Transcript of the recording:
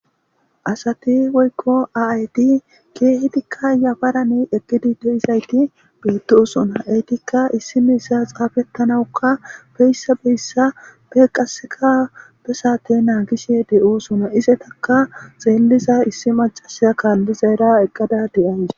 Asati woykko aayti keehedikka yafarane eqkidi deizayti beettosonaeytikka issi meyssa xaafettanawukka beyssa beyssa beqaseka be saate naa gishe de'oosona isetakka xeelliza issi macasa kaallizayra eqqada de'ays.